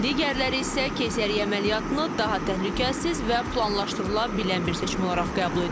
Digərləri isə keysəriyyə əməliyyatını daha təhlükəsiz və planlaşdırıla bilən bir seçim olaraq qəbul edir.